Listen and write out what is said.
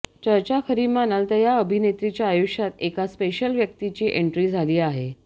चर्चा खरी मानाल तर या अभिनेत्रीच्या आयुष्यात एका स्पेशल व्यक्तिची एन्ट्री झाली आहे